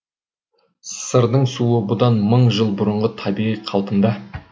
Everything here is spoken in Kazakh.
сырдың суы бұдан мың жыл бұрынғы табиғи қалпында